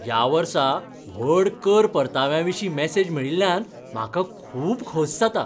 ह्या वर्सा व्हड कर परताव्याविशीं मॅसेज मेळिल्ल्यान म्हाका खूब खोस जाता.